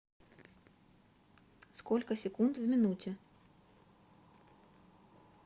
сколько секунд в минуте